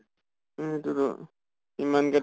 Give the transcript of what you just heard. সেইতো টো ইমান কে